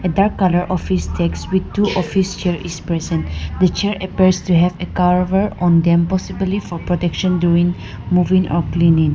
a dark colour office desk with two office chair is present the chair appears to have a carver on them possibly for protection during moving or cleaning.